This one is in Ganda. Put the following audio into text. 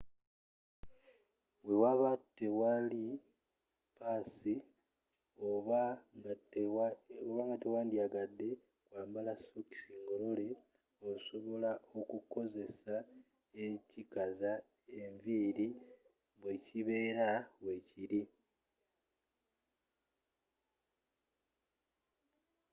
we waba teliwo ppaasi oba nga tewandyagadde kwambala sokisi ngolole osobola okukozesa ekikaza enviiri bwekibeera weekiri